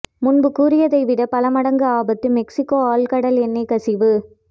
முன்பு கூறியதை விட பல மடங்கு ஆபத்து மெக்சிகோ ஆழ்கடல் எண்ணெய் கசிவு